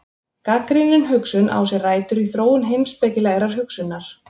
Gagnrýnin hugsun á sér rætur í þróun heimspekilegrar hugsunar.